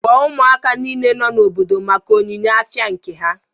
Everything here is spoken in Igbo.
Kpọọ ụmụaka nile nọ n'obodo maka ihe onyinye afia nke ha